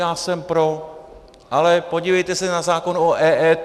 Já jsem pro, ale podívejte se na zákon o EET.